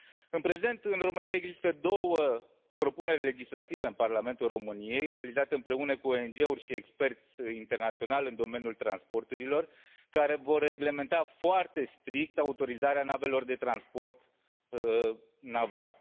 În prezent, în România există două propuneri legislative în Parlamentul României, realizate împreună cu ONG uri și experți internaționali în domeniul transporturilor, care vor reglementa foarte strict autorizarea navelor de transport naval.